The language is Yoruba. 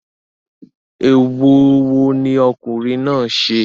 Èèwọ̀ wo ni ọkùnrin náà ṣe?